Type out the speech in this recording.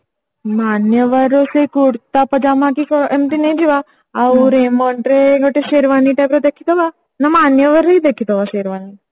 ମାନ୍ୟବର ରୁ ସେଇ କୁର୍ତା ପଜାମା କି ଏମତି ନେଇଯିବା ଆଉ Raymond ରେ ଗୋଟେ Sherwani type ର ଦେଖି ଦେବା ନା ମାନ୍ୟବର ରେ ହିଁ ଦେଖି ଦେବା Sherwani